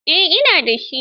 Eh, ina da shi.